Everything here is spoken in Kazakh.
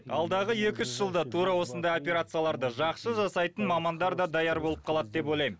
алдағы екі үш жылда тура осындай операцияларды жақсы жасайтын мамандар да даяр болып қалады деп ойлаймын